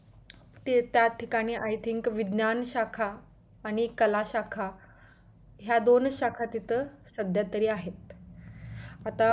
ते त्या ठिकाणी I think विज्ञान शाखा आणि एक कला शाखा ह्या दोनच शाखा तिथं सध्या तरी आहेत आता